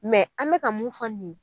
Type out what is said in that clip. an bɛka ka mun fɔ ye.